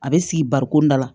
A bɛ sigi barikon da la